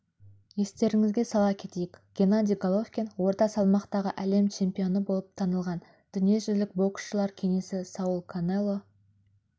естеріңізге сала кетейік геннадий головкин орта салмақтағы әлем чемпионы болып танылған дүнижүзілік боксшылар кеңесі саул канело